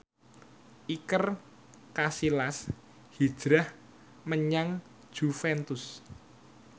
Iker Casillas hijrah menyang Juventus